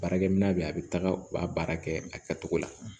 Baarakɛminɛn bɛ yen a bɛ taga u b'a baara kɛ a kɛcogo la